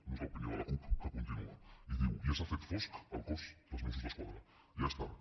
no és l’opinió de la cup que continua i diu ja s’ha fet fosc al cos dels mossos d’esquadra ja és tard